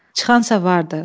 Çıxan sa vardı.